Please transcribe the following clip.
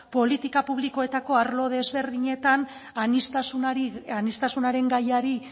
politika publikoetako arlo desberdinetan aniztasunaren gaiari